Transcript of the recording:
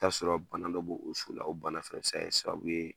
I bɛ t'a sɔrɔ bana dɔ bɔ o so la o bana bɛ se ka sababu ye